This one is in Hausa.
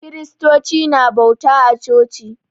Kristoci na bauta a coci.